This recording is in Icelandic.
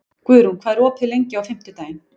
Guðrún, hvað er opið lengi á fimmtudaginn?